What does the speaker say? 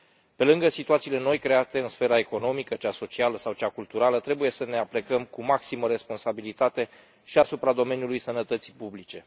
Pe lângă situațiile noi, create în sfera economică, cea socială sau cea culturală, trebuie să ne aplecăm cu maximă responsabilitate și asupra domeniului sănătății publice.